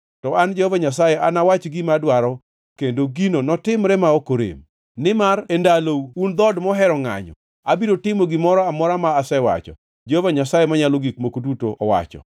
To an Jehova Nyasaye anawach gima adwaro kendo gino notimre ma ok orem. Nimar e ndalou, un dhood mohero ngʼanyo, abiro timo gimoro amora ma asewacho, Jehova Nyasaye Manyalo Gik Moko Duto owacho.”